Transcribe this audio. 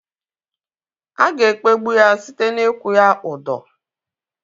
A ga-ekpegbụ ya site n'ikwu ya udọ